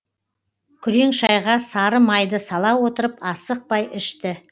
күрең шайға сары майды сала отырып асықпай ішті